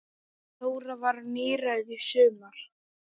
Þóra varð níræð í sumar.